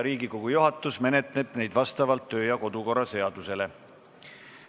Riigikogu juhatus menetleb neid vastavalt kodu- ja töökorra seadusele.